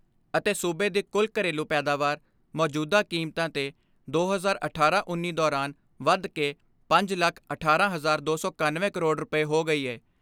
ਅਤੇ ਸੂਬੇ ਦੀ ਕੁਲ ਘਰੇਲੂ ਪੈਦਾਵਾਰ, ਮੌਜੂਦਾ ਕੀਮਤਾਂ ਤੇ ਦੋ ਹਜ਼ਾਰ ਅਠਾਰਾਂ ਉੱਨੀ ਦੌਰਾਨ ਵੱਧ ਕੇ ਪੰਜ ਲੱਖ ਅਠਾਰਾਂ ਹਜਾਰ ਦੋ ਸੌ ਇਕੱਨਵੇ ਕਰੋੜ ਰੁਪਏ ਹੋ ਗਈ ਏ।